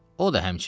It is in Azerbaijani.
O da həmçinin.